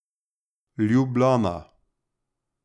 Ljubljana.